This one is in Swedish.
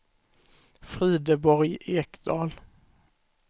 Frideborg Ekdahl